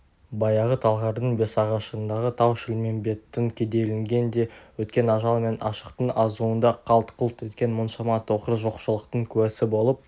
баяғы талғардың бесағашындағы тау-шілмембеттің кедейлігінен де өткен ажал мен аштықтың азуында қалт-құлт еткен мұншама тақыр жоқшылықтың куәсі болып